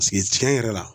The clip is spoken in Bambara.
tiɲɛ yɛrɛ la